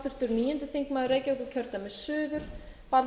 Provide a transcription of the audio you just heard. frú forseti ég ætla að